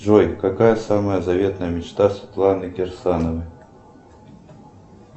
джой какая самая заветная мечта светланы кирсановой